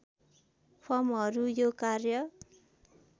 फर्महरू यो कार्य